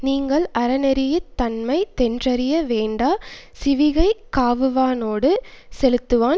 நீங்கள் அறநெறி யித்தன்மைத்தென் றறிய வேண்டா சிவிகைக் காவுவானோடு செலுத்துவான்